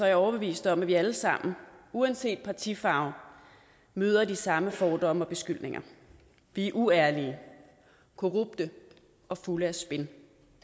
jeg overbevist om at vi alle sammen uanset partifarve møder de samme fordomme og beskyldninger vi er uærlige korrupte og fulde af spin